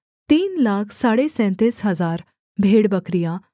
तीन लाख साढ़े सैंतीस हजार भेड़बकरियाँ